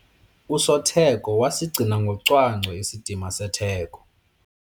Usotheko wasigcina ngocwangco isidima setheko.